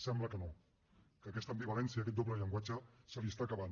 sembla que no que aquesta ambivalència aquest doble llenguatge se li està acabant